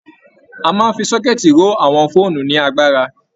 A máa ń fi sọ́kẹ́tì ró àwọn fóònù ní agbára